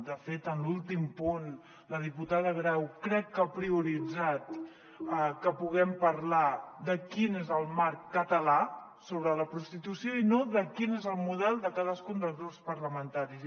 de fet en l’últim punt la diputada grau crec que ha prioritzat que puguem parlar de quin és el marc català sobre la prostitució i no de quin és el model de cadascun dels grups parlamentaris